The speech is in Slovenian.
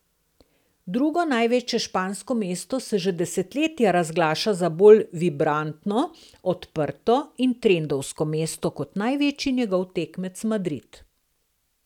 Drugo največje špansko mesto se že desetletja razglaša za bolj vibrantno, odprto in trendovsko mesto, kot največji njegov tekmec Madrid.